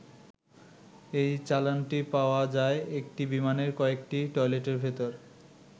এই চালানটি পাওয়া যায় একটি বিমানের কয়েকটি টয়লেটের ভেতর।